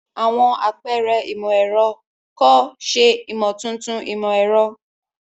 Àwọn àpẹrẹ imọ-ẹrọ, kọ, ṣe imotuntun imọ-ẹrọ.